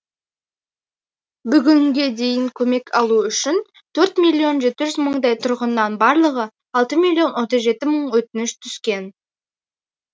бүгінге дейін көмек алу үшін төрт миллион жеті жүз мыңдай тұрғыннан барлығы алты миллион отыз жеті мың өтініш түскен